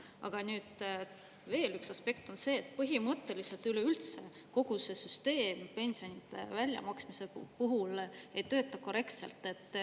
Aga nüüd veel üks aspekt on see, et põhimõtteliselt üleüldse kogu see süsteem pensionide väljamaksmise puhul ei tööta korrektselt.